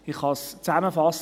Ich kann zusammenfassen: